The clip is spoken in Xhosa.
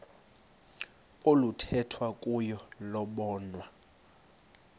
oluthethwa kuyo lobonwa